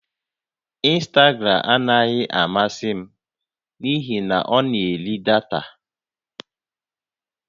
Ịnstagram anaghị amasị m n'ihi na ọ na-eri data